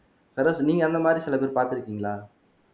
பெரோஸ் நீங்க அந்த மாதிரி சில பேரை பார்த்திருக்கீங்களா